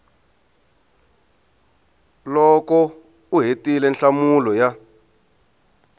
loko u hetile nhlamulo ya